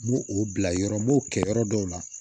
N b'o o bila yɔrɔ n b'o kɛ yɔrɔ dɔw la